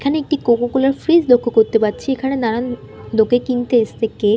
এখানে একটি Coca Cola -এর ফ্রিজ লক্ষ্য করতে পারছি এখনে দাঁড়ান লোকে কিনতে এসেছে কেক --